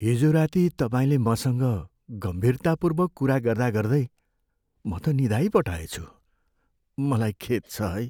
हिजो राति तपाईँले मसँग गम्भीरतापूर्वक कुरा गर्दागर्दै म त निदाइ पठाएछु, मलाई खेद छ है।